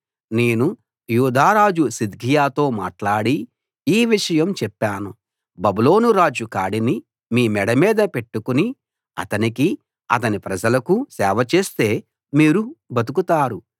నేను యూదా రాజు సిద్కియాతో మాట్లాడి ఈ విషయం చెప్పాను బబులోను రాజు కాడిని మీ మెడ మీద పెట్టుకుని అతనికీ అతని ప్రజలకూ సేవ చేస్తే మీరు బతుకుతారు